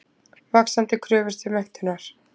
Vaxandi kröfur til menntunar.